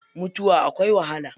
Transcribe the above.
Mutuwa akwai wahala.